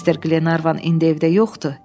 Mister Qlenarvan indi evdə yoxdur.